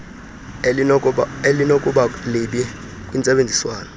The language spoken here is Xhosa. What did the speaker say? elinokuba libi kwintsebenzo